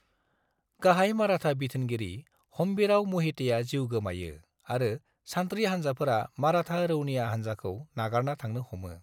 गाहाय माराठा बिथोनगिरि हम्बीराव म'हितेआ जिउ गोमायो आरो सान्थ्रि हान्जाफोरा माराठा रौनिया हान्जाखौ नागारना थांनो हमो।